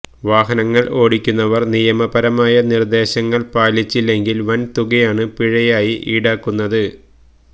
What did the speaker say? വാഹനങ്ങള് ഓടിക്കുന്നവര് നിയമപരമായ നിര്ദ്ദേശങ്ങള് പാലിച്ചില്ലെങ്കില് വന് തുകയാണ് പിഴയായി ഈടാക്കുന്നത്